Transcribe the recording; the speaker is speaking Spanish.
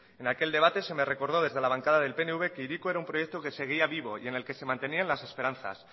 en aquel debate se me recordó desde la bancada del pnv que hiriko era un proyecto que seguía vivo y en el que se mantenían las esperanzas